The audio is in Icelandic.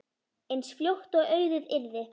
eins fljótt og auðið yrði.